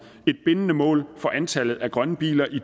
et bindende mål for antallet af grønne biler i